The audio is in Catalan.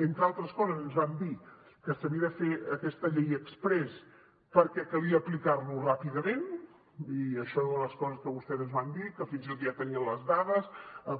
entre altres coses ens van dir que s’havia de fer aquesta llei exprés perquè calia aplicar lo ràpidament i això era una de les coses que vostès ens van dir que fins i tot ja tenien les dades